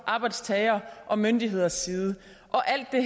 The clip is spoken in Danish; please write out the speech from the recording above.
arbejdstageres og myndigheders side og alt det